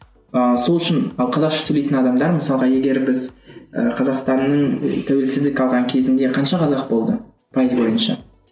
ыыы сол үшін ы қазақша сөйлейтін адамдар мысалға егер біз ы қазақстанның тәуелсіздік алған кезінде қанша қазақ болды пайыз бойынша